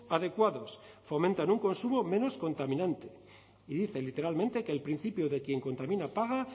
adecuados fomentan un consumo menos contaminante y dice literalmente que el principio de quien contamina paga